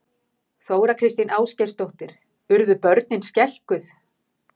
Þóra Kristín Ásgeirsdóttir: Urðu börnin skelkuð?